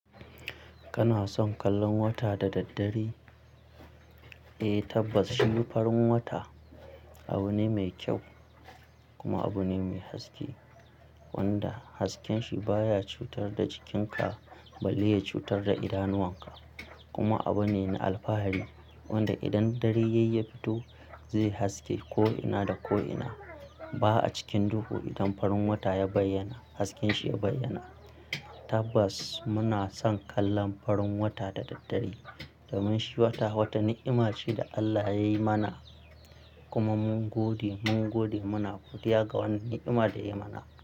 Kana son kallon wata da daddare? Eh, tabbas shi farin wata abu ne mai kyau kuma abu ne mai haske wanda hasken shi baya cutar da jikin ka, ba lille ya cutar da idanuwan ka. Kuma abu ne na alfahari wanda idan dare yayi ya fito zai haske ko'ina da ko'ina. Ba'a cikin duhu idan farin wata ya bayyana, hasken shi ya bayyana. Tabbas muna son kallon farin wata da daddare domin shi wata, wata ni'ima ce da Allah ya yi mana kuma mun gode, mun gode muna godiya ga wannan ni'ima da ya mana.